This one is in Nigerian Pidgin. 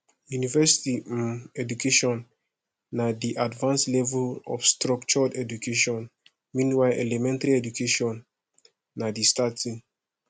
university um education na di advanced level of structured education meanwhile elementary education na di starting